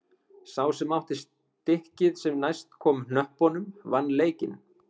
Sá sem átti stikkið sem næst komst hnöppunum vann leikinn.